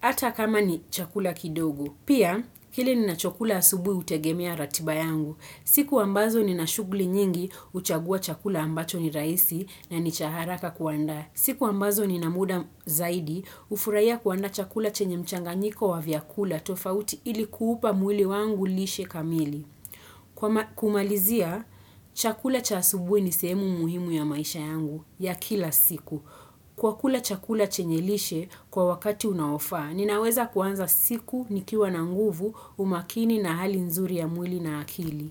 ata kama ni chakula kidogo. Pia, kile ninachokula asubui hutegemea ratiba yangu, siku ambazo nina shugli nyingi huchagua chakula ambacho ni raisi na ni cha haraka kuandaa. Siku ambazo nina muda zaidi hufuraia kuandaa chakula chenye mchanganyiko wa vyakula tofauti ili kuupa mwili wangu lishe kamili. Kumalizia, chakula cha asubui ni sehemu muhimu ya maisha yangu ya kila siku. Kwa kula chakula chenye lishe kwa wakati unaofaa, ninaweza kuanza siku nikiwa na nguvu umakini na hali nzuri ya mwili na akili.